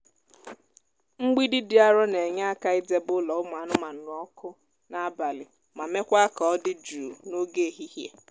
mgbidi dị arọ na-enye aka idebe ụlọ ụmụ anụmanụ ọkụ n'abalị ma mekwaa ka ọ dị jụụ n'oge ehihie.